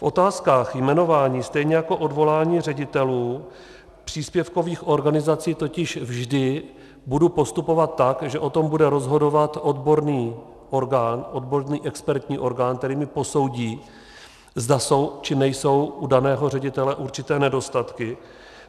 V otázkách jmenování stejně jako odvolání ředitelů příspěvkových organizací totiž vždy budu postupovat tak, že o tom bude rozhodovat odborný orgán, odborný expertní orgán, který mi posoudí, zda jsou či nejsou u daného ředitele určité nedostatky.